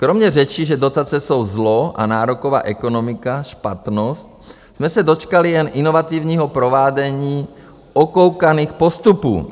Kromě řečí, že dotace jsou zlo a nároková ekonomika špatnost, jsme se dočkali jen inovativního provádění okoukaných postupů.